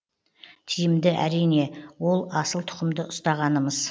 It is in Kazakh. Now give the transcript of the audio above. тиімді әрине ол асыл тұқымды ұстағанымыз